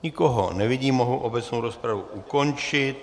Nikoho nevidím, mohu obecnou rozpravu ukončit.